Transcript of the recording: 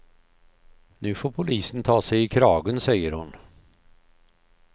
Nu får polisen ta sig i kragen, säger hon.